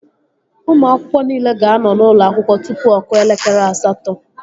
Ụmụ akwụkwọ niile ga-anọ n'ụlọ akwụkwọ tụpụ ọ kụọ elekere asatọ